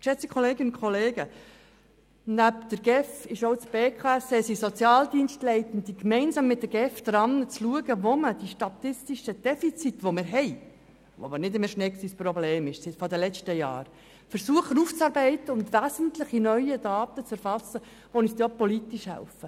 Auch die Berner Konferenz für Sozialhilfe, Kindes- und Erwachsenenschutz (BKSE) und Sozialdienstleitende schauen gegenwärtig gemeinsam mit der GEF, wo man versucht, unsere statistischen Defizite aufzuarbeiten und wesentliche neue Daten zu erfassen, die uns dann auch politisch helfen.